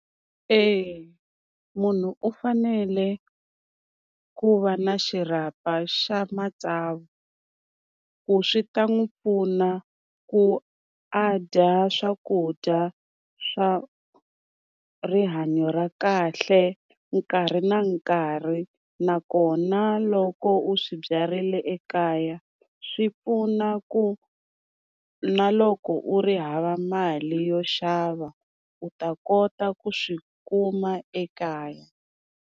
E munhu u fanele ku va na xirhapa xa matsavu, ku swi ta n'wi pfuna ku a dya swakudya swa rihanyo ra kahle nkarhi na nkarhi, nakona loko u swi byarile ekaya swi pfuna ku na loko u ri hava mali yo xava u ta kota ku swi kuma ekaya.